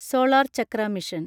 solar Chakra mission